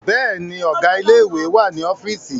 Bẹ́ẹ̀ni, Ọ̀gá ilé ìwé wà ní ọ́fíìsì